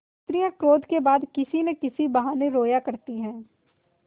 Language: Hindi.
स्त्रियॉँ क्रोध के बाद किसी न किसी बहाने रोया करती हैं